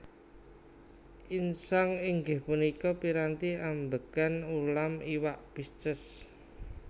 Insang inggih punika piranti ambegan ulam iwak Pisces